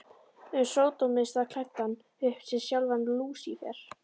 um sódómista klæddan upp sem sjálfan Lúsífer.